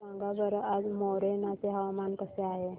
सांगा बरं आज मोरेना चे हवामान कसे आहे